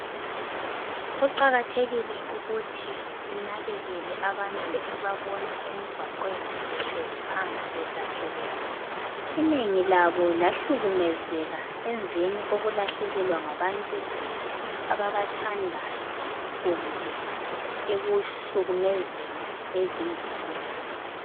Kuqakathekile ukuthi sinakekele abantu esibabona emgwaqweni behlezi phansi bedatshukelwe inengi labo lahlukumezeka emveni kokulahlekelwa ngabantu ababathandayo kumbe ekuhlukumezweni ezimulini .